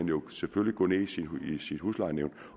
jo selvfølgelig gå ned i sit huslejenævn